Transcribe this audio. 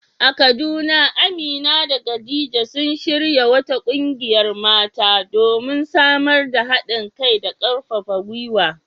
A Kaduna, Amina da Khadija sun shirya wata kungiyar mata, domin samar da hadin kai da karfafa gwiwa.